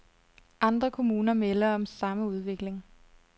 Andre kommuner melder om samme udvikling.